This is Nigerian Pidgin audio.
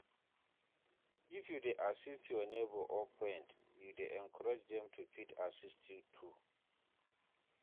If you de assist your neighbor or friend you de encourage dem to fit assit you too